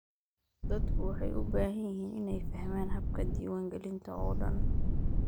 Dadku waxay u baahan yihiin inay fahmaan habka diiwaangelinta oo dhan.